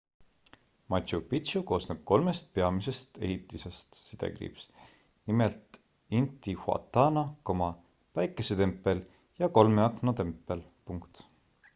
machu picchu koosneb kolmest peamisest ehitisest nimelt intihuatana päikesetempel ja kolme akna tempel